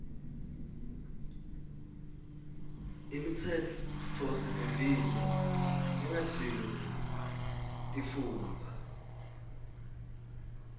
imitsetfosivivinyo lengatsintsi tifundza